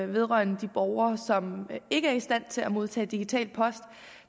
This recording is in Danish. vedrørende de borgere som ikke er i stand til at modtage digital post